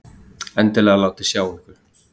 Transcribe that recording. Endilega látið sjá ykkur!